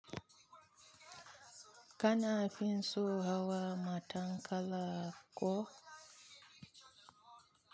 Kana fin so hawa matan kala ko?